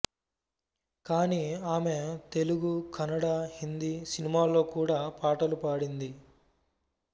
కానీ ఆమె తెలుగు కన్నడ హిందీ సినిమాల్లో కూడా పాటలు పాడింది